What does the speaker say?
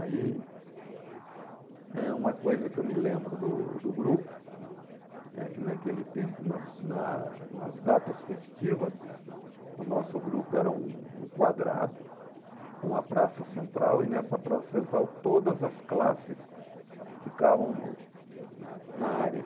Aí, eh, uma coisa que eu me lembro do do grupo é que naquele tempo, nas na nas datas festivas, o nosso grupo era um um quadrado com a praça central e nessa praça central todas as classes ficavam no na área.